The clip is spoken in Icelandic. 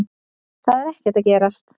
Það er ekkert að gerast.